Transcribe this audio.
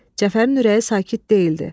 Cəfərin ürəyi sakit deyildi.